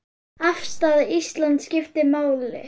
Afstaða Íslands skiptir máli.